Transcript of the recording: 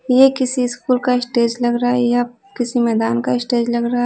ये किसी स्कूल का स्टेज लग रहा या किसी मैदान का स्टेज लग रहा--